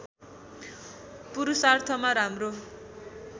पुरुषार्थमा राम्रो